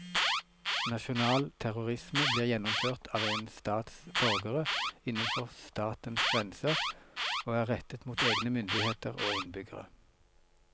Nasjonal terrorisme blir gjennomført av en stats borgere innenfor statens grenser og er rettet mot egne myndigheter og innbyggere.